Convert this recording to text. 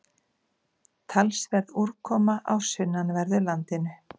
Talsverð úrkoma á sunnanverðu landinu